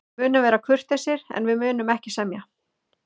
Við munum vera kurteisir, en við munum ekki semja.